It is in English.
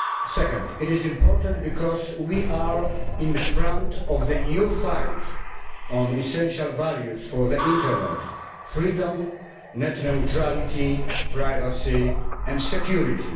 Secondly, it is important because we are at the front of the new fight on essential values for the internet freedom, net neutrality, privacy and security.